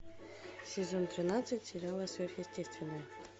сезон тринадцать сериала сверхъестественное